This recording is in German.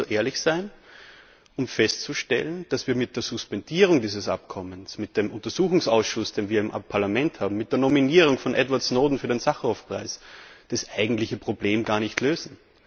Wir sollten doch so ehrlich sein und feststellen, dass wir mit der Suspendierung dieses Abkommens, mit dem Untersuchungsausschuss, den wir im Parlament haben, mit der Nominierung von Edward Snowden für den Sacharow Preis das eigentliche Problem gar nicht lösen.